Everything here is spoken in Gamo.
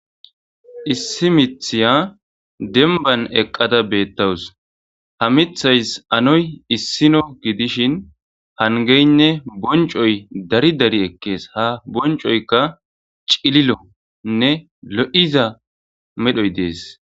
issi mithiya demban eqqada beettawus ha mithays anoy issino gidishin hangeynne boncoy dari dari ekkees ha boncoykka cililonne lo7iza medhoy dees